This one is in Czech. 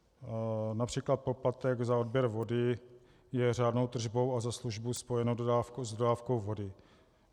Například poplatek za odběr vody je řádnou tržbou a za službu spojenou s dodávkou vody.